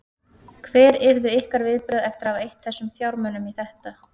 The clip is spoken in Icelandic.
Hver yrðu ykkar viðbrögð eftir að hafa eytt þessum fjármunum í þetta?